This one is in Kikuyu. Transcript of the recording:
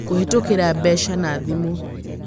Kũhĩtũkĩra mbeca na thimũ: